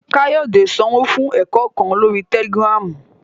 Kayode sanwo fun ẹkọ kan lori Tẹlìgìrámu